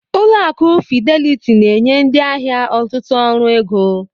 Ụlọ akụ Fideliti na-enye ndị ahịa ọtụtụ ọrụ ego.